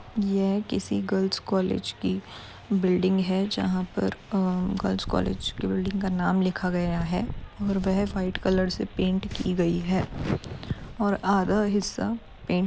यह किसी girls college की बिल्डिंग है जहां पर अ गर्ल्स कॉलेज की बिल्डिंग का नाम लिखा गया है और वह व्हाइट कलर से पैंट की गई है। और आधा हिस्सा पेंट --